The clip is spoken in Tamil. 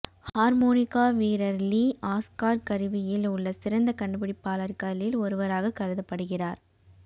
ஹார்மோனிகா வீரர் லீ ஆஸ்கார் கருவியில் உள்ள சிறந்த கண்டுபிடிப்பாளர்களில் ஒருவராக கருதப்படுகிறார்